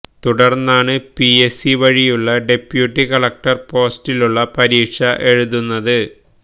തുടര്ന്നാണ് PS C വഴിയുള്ള deputy collector പോസ്റ്റിലുള്ള പരീക്ഷ എഴുതുന്നത്